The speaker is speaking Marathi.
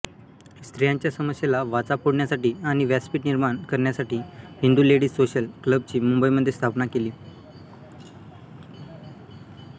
स्त्रियांच्या समस्येला वाचा फोडण्यासाठी आणि व्यासपीठ निर्माण करण्यासाठी हिंदू लेडीज सोशल क्लबची मुंबईमध्ये स्थापना केली